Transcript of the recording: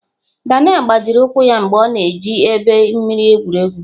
Daniel gbajiri ụkwụ ya mgbe ọ na-eji egbe mmiri egwu egwu.